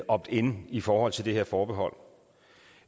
opt in i forhold til det her forbehold